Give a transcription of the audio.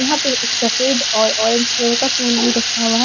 यहां पे एक सफेद और ऑरेंज कलर का टूल भी रखा हुआ है।